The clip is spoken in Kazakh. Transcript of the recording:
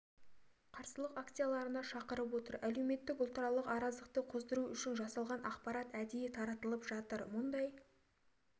қарсылық акцияларға шақырып отыр әлеуметтік ұлтаралық араздықты қоздыру үшін жалған ақпарат әдейі таратылып жатыр мұндай